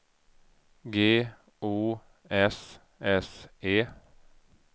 G O S S E